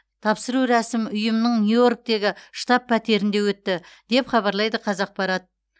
тапсыру рәсім ұйымның нью йорктегі штаб пәтерінде өтті деп хабарлайды қазақпарат